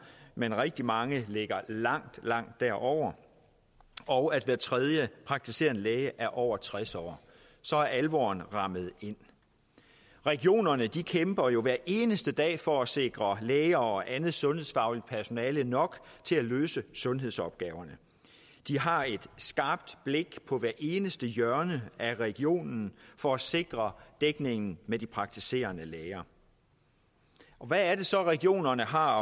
men rigtig mange ligger langt langt derover og at hver tredje praktiserende læge er over tres år så er alvoren rammet ind regionerne kæmper jo hver eneste dag for at sikre læger og andet sundhedsfagligt personale nok til at løse sundhedsopgaverne de har et skarpt blik på hvert eneste hjørne af regionen for at sikre dækningen med de praktiserende læger og hvad er det så regionerne har